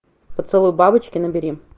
поцелуй бабочки набери